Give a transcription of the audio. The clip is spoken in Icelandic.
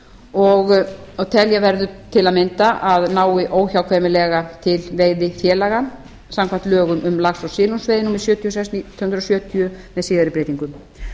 og telja verður til að mynda að nái óhjákvæmilega til veiðifélaga samkvæmt lögum um lax og silungsveiði númer sjötíu og sex nítján hundruð sjötíu með síðari breytingum